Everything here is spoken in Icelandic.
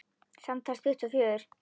Samtals tuttugu og fjögur.